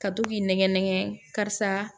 Ka to k'i nɛgɛn nɛgɛn karisa